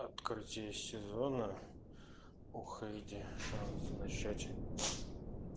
открытие сезона уходи а начать